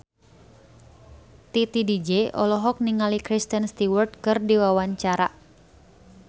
Titi DJ olohok ningali Kristen Stewart keur diwawancara